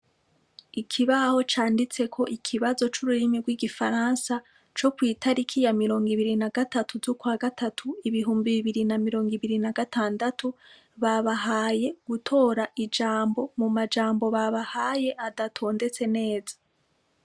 Ikibaho canditseko ikibazo cururimi rwigifaransa co kwitariki ya mirongo ibiri na gatatu zukwagatatu ibihumbi bibiri na mirongo ibiri na gatandatu babahaye gutora ijambo mu majambo babahaye adatondetse neza .